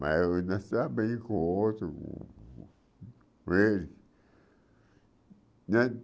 Mas eu não estava bem com o outro, com ele. Né